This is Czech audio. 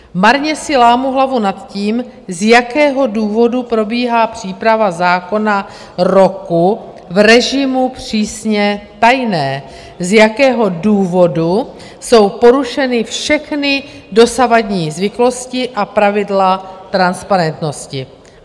Marně si lámou hlavu nad tím, z jakého důvodu probíhá příprava zákona roku v režimu "přísně tajné", z jakého důvodu jsou porušeny všechny dosavadní zvyklosti a pravidla transparentnosti.